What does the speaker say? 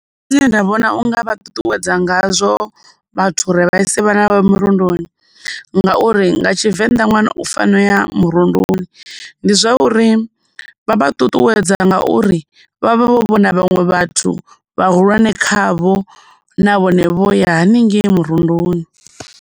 Nṋe zwine nda vhona unga vha ṱuṱuwedza ngazwo vhathu uri vha ise vhana vhavho mirundoni, ngauri nga Tshivenda ṅwana u fanela murunduni ndi zwa uri vha vha ṱuṱuwedza ngauri vha vha vho vhona vhaṅwe vhathu vhahulwane khavho na vhone vho ya haningei murunduni.